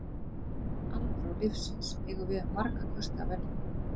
Í hverri andrá lífsins eigum við um marga kosti að velja.